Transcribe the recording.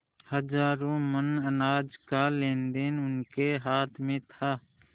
हजारों मन अनाज का लेनदेन उनके हाथ में था